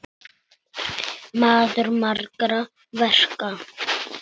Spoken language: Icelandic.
Maður margra verka.